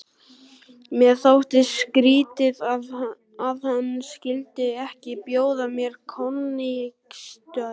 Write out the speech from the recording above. Mér þótti skrýtið, að hann skyldi ekki bjóða mér koníaksstaup.